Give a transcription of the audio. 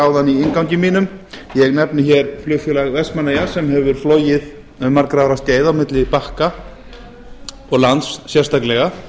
áðan í inngangi mínum ég nefni hér flugfélag vestmannaeyja sem hefur flogið um margra ára skeið milli bakka og lands sérstaklega